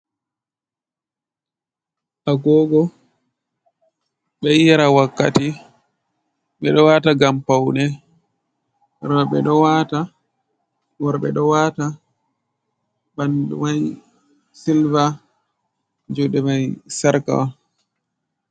Agogo ɓeɗo yira wakkati, ɓe ɗo wata ngam paune, roɓɓe ɗo wata, worɓe ɗo wata, ɓanɗu mai silver, juɗe mai sarka on.